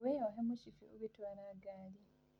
Wĩyohe mũcĩbĩ ũgĩtwara ngarĩ.